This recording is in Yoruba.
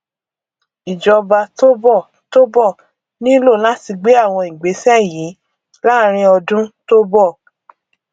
ìjọba tó bọ tó bọ nílò láti gbé àwọn ìgbésẹ yìí láàrín ọdún tó bọ